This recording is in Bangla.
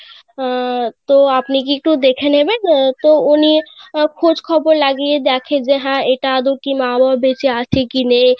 আহ তো আপনি কি একটু দেখে নেবেন আহ তো উনি খোঁজ খবর লাগিয়ে দেখে যে এটা আদৌ কি না বেচে আছে কি নেই;